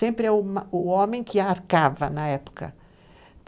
Sempre é o homem que a arcava na época.